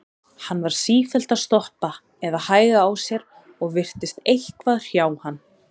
Hann var sífellt að stoppa eða hægja á sér og virtist eitthvað hrjá hann.